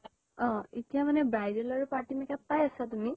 অহ এতিয়া মানে bridal আৰু party makeup পায় আছা তুমি?